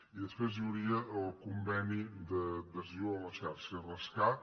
i després hi hauria el conveni d’adhesió a la xarxa rescat